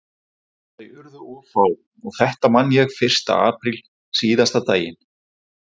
Þau urðu of fá og þetta man ég fyrsta apríl, síðasta daginn